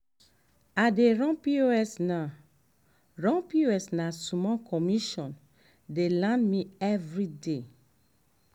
i dey run pos na run pos na small commission dey land me everyday.